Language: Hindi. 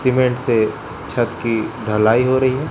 सीमेंट से छत की ढलाई हो रही है।